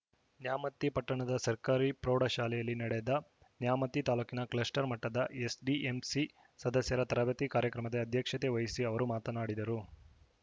ನ್ಯಾಮತಿ ಪಟ್ಟಣದ ಸರ್ಕಾರಿ ಪ್ರೌಢ ಶಾಲೆಯಲ್ಲಿ ನಡೆದ ನ್ಯಾಮತಿ ತಾಲೂಕು ಕ್ಲಸ್ಟರ್‌ ಮಟ್ಟದ ಎಸ್‌ಡಿಎಂಸಿ ಸದಸ್ಯರ ತರಬೇತಿ ಕಾರ್ಯಕ್ರಮದ ಅಧ್ಯಕ್ಷತೆ ವಹಿಸಿ ಅವರು ಮಾತನಾಡಿದರು